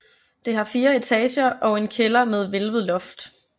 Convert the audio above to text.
Det har fire etager og en kælder med hvælvet loft